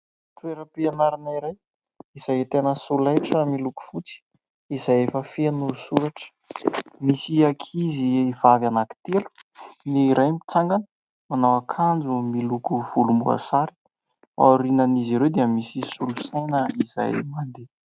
Toera-pianarana iray izay ahitana solaitra miloko fotsy izay efa feno soratra. Misy ankizivavy anankitelo : ny iray mitsangana manao akanjo miloko volomboasary aorianan'izy ireo dia misy solosaina izay mandeha.